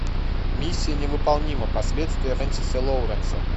миссия невыполнима последствия френсиса лоуренса